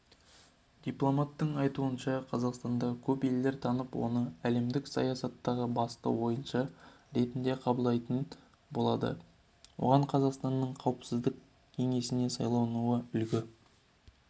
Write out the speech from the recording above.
дипломаттың айтуынша қазақстанды көп елдер танып оны әлемдік саясаттағы басты ойыншы ретінде қабылдайтын болады оған қазақстанның қауіпсіздік кеңесіне сайлануы үлгі